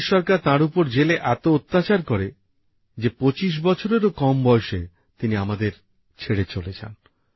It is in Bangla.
ব্রিটিশ সরকার তাঁর ওপর জেলে এত অত্যাচার করে যে মাত্র ২৫ বছর বয়েসেই তিনি আমাদের ছেড়ে চলে যান